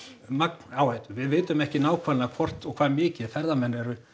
magn áhættu við vitum ekki nákvæmlega hvort og hvað mikið ferðamenn